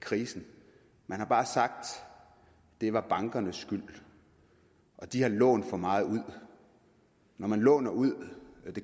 krisen man har bare sagt at det var bankernes skyld og de har lånt for meget ud når man låner ud